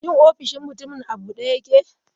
Shin ofishin mutumin a bude yake?